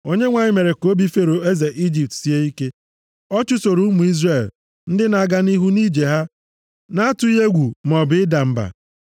Onyenwe anyị mere ka obi Fero eze Ijipt sie ike. Ọ chụsoro ụmụ Izrel, ndị na-aga nʼihu nʼije ha, na-atụghị egwu maọbụ ịda mba.